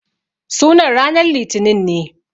Sunan ranan litinin ne.